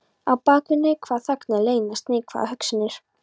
Á bak við neikvæðar þagnir leynast neikvæðar hugsanir.